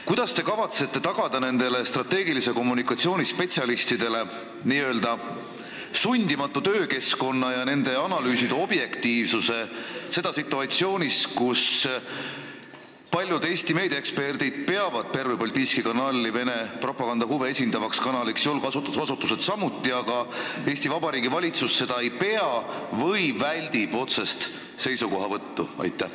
Kuidas te kavatsete nendele strateegilise kommunikatsiooni spetsialistidele tagada n-ö sundimatu töökeskkonna ja analüüside objektiivsuse situatsioonis, kus paljud Eesti meediaeksperdid ja julgeolekuasutused peavad Pervõi Baltiiski Kanali Vene propaganda huve esindavaks kanaliks, aga Eesti Vabariigi valitsus ei pea või väldib otsest seisukohavõttu?